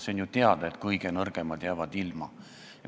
See on ju teada, et kõige nõrgemad jäävad ilma.